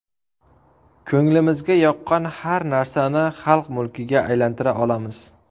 Ko‘nglimizga yoqqan har narsani xalq mulkiga aylantira olamiz.